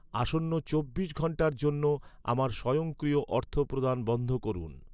আসন্ন চব্বিশ ঘন্টার জন্য আমার স্বয়ংক্রিয় অর্থপ্রদান বন্ধ করুন।